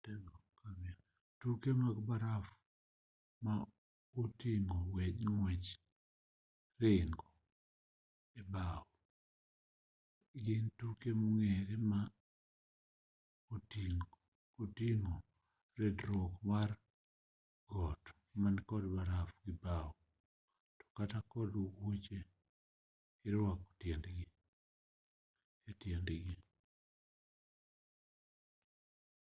tuke gode mag barafu ma oting'o ng'wech gi ringo e mbao gin tuke mong'ere ma oting'o ridruok piny mar got man kod barafu gi mbao kata kod wuoche ma irwako e tiendi